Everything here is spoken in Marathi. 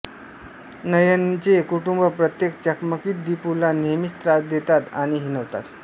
नयनचे कुटुंब प्रत्येक चकमकीत दीपूला नेहमीच त्रास देतात आणि हिणवतात